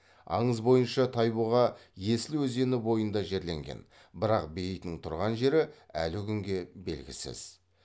аңыз бойынша тайбұға есіл өзені бойында жерленген бірақ бейітінің тұрған жері әлі күнге белгісіз